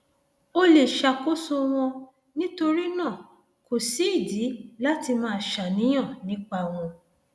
o lè ṣàkóso wọn nítorí náà kò sídìí láti máa ṣàníyàn nípa wọn